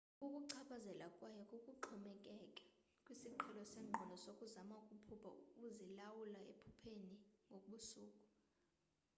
ukukuchaphazela kwayo kuxhomekeke kwisiqhelo sengqondo sokuzama ukuphupha uzilawula ephupheni ngobusuku